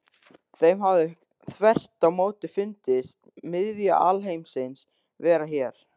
Þeim hafi þvert á móti fundist miðja alheimsins vera hér.